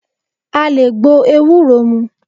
À le gbo Ewúro mú.